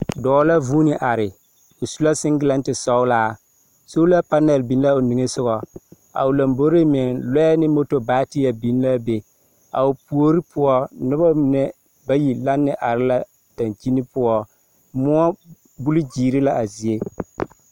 Dͻͻ la vuuni are. o su la seŋgelԑnte sͻgelaa. Sola panԑl biŋ la a o niŋe sogͻ. A o lomboriŋ, lͻԑ ne moto bateԑ biŋ la a be. A o puori poͻ, noba mine bayi lanne are la daŋkyini poͻ. Mõͻ buli gyeere la a zie.